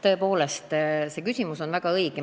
Tõepoolest, see küsimus on väga õige.